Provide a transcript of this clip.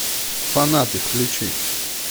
фанаты включи